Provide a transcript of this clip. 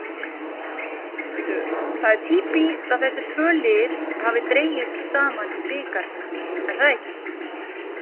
Það er týpískt að þessi tvö lið hafi dregist saman í bikarnum, er það ekki?